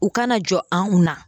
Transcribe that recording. U kana jɔn anw na.